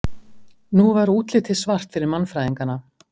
nú var útlitið svart fyrir mannfræðingana